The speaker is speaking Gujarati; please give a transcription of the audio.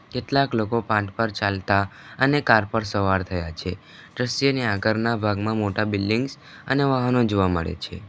કેટલાક લોકો પાથ પર ચાલતા અને કાર પર સવાર થયા છે દ્રશ્યને આગરના ભાગમાં મોટા બિલ્ડિંગ્સ અને વાહનો જોવા મળે છે.